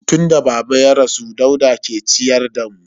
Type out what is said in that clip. Tun da baba ya rasu Dauda ke ciyar da mu.